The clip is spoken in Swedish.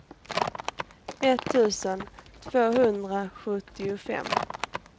etttusen tvåhundrasjuttiofem